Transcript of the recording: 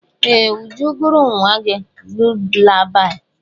Ee! Uju gụụrụ nwa gị lulabaị.